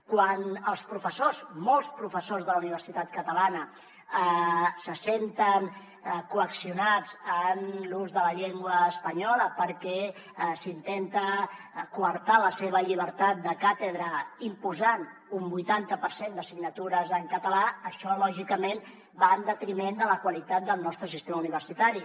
quan els professors molts professors de la universitat catalana se senten coaccionats en l’ús de la llengua espanyola perquè s’intenta coartar la seva llibertat de càtedra imposant un vuitanta per cent d’assignatures en català això lògicament va en detriment de la qualitat del nostre sistema universitari